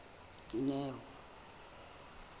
dineo